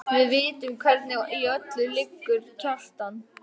Við vitum hvernig í öllu liggur, Kjartan.